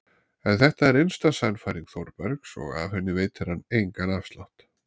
En þetta er innsta sannfæring Þórbergs og af henni veitir hann engan afslátt.